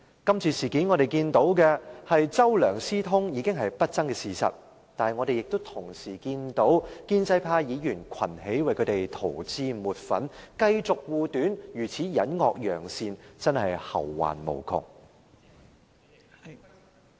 今次事件，我們看到"周梁"私通已是不爭的事實，我們同時亦看到，建制派議員群起為他們塗脂抹粉，繼續護短，如此隱惡揚善，真是後患無窮......